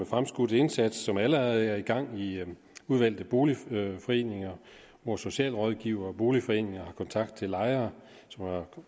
fremskudt indsats som allerede er i gang i udvalgte boligforeninger hvor socialrådgivere og boligforeninger har kontakt til lejere som har